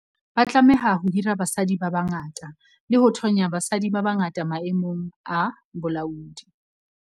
Ba tlameha ho hira basadi ba bangata le ho thonya basadi ba bangata maemong a bolaodi.